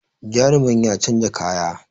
Jarumin ya canza kaya